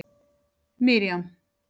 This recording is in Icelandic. Miriam